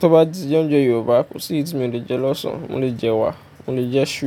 Tó bá ti je oúnjẹ Yorùbá, kò sí èyí tí mi ò lè jẹ lọ́sán. Mo lè jẹ ẹwà, mo lè jẹ isú.